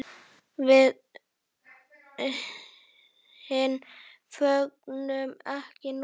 Við hin fögnum ekki núna.